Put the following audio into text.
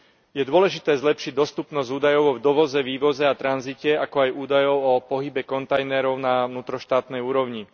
Je dôležité zlepšiť dostupnosť údajov o dovoze, vývoze a tranzite, ako aj údajov o pohybe kontajnerov na vnútroštátnej úrovni.